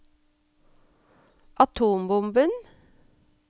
atombomben